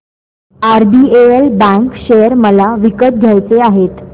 RBL bank share मला विकत घ्यायचे आहेत